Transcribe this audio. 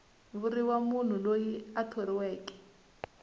vuriwa munhu loyi a thoriweke